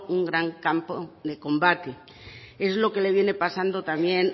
un gran campo de combate es lo que le viene pasando también